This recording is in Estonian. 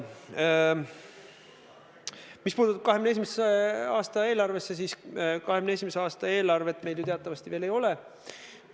Mis puutub 2021. aasta eelarvesse, siis seda eelarvet meil ju teatavasti veel ei ole.